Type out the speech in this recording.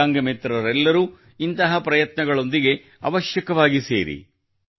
ದಿವ್ಯಾಂಗ ಮಿತ್ರರೆಲ್ಲರೂ ಇಂತಹ ಪ್ರಯತ್ನಗಳೊಂದಿಗೆ ಅವಶ್ಯವಾಗಿ ಸೇರಿರಿ